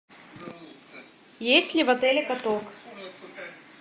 есть ли в отеле каток